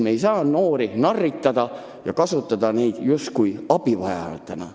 Me ei saa noori narritada ja suhtuda nendesse üksnes kui abivajajatesse.